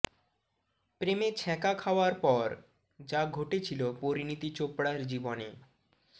প্রেমে ছ্যাঁকা খাওয়ার পর যা ঘটেছিল পরিণীতি চোপড়ার জীবনে